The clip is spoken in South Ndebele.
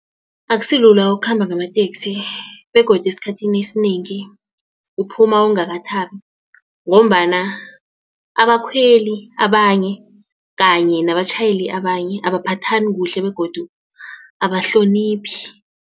Akusilula ukukhamba ngamateksi begodu esikhathini esinengi uphuma ungakathabi. Ngombana abakhweli abanye kanye nabatjhayeli abanye abaphathani kuhle begodu abahloniphi.